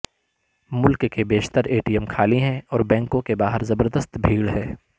ملک کے بیشتر A T M خالی ہیں اور بینکوں کے باہر زبردست بھیڑ ہے